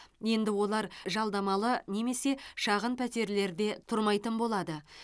енді олар жалдамалы немесе шағын пәтерлерде тұрмайтын болады